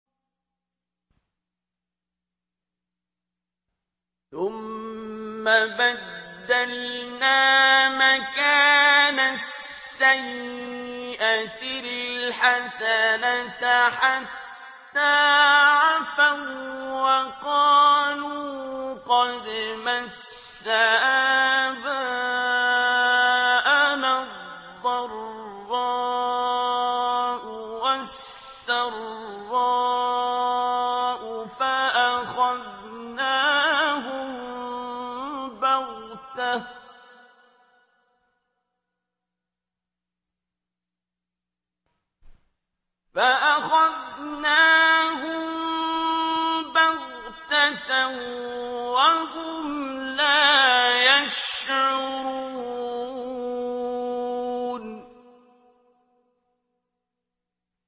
ثُمَّ بَدَّلْنَا مَكَانَ السَّيِّئَةِ الْحَسَنَةَ حَتَّىٰ عَفَوا وَّقَالُوا قَدْ مَسَّ آبَاءَنَا الضَّرَّاءُ وَالسَّرَّاءُ فَأَخَذْنَاهُم بَغْتَةً وَهُمْ لَا يَشْعُرُونَ